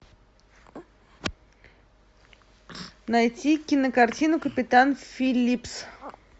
найти кинокартину капитан филлипс